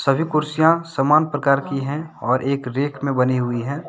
सभी कुर्सियां सामान प्रकार की हैं और एक रैक में बनी हुई है।